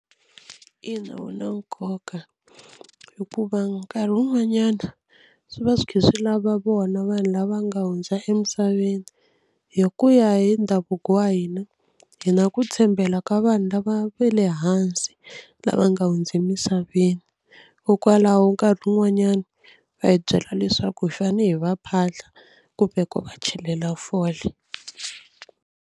Ina wu na nkoka hikuva nkarhi wun'wanyana swi va swi kha swi lava vona vanhu lava nga hundza emisaveni hi ku ya hi ndhavuko wa hina hi na ku tshembela ka vanhu lava va le hansi lava nga hundza emisaveni hikokwalaho nkarhi wun'wanyani va hi byela leswaku hi fanele hi va phahla kumbe ku va chelela fole.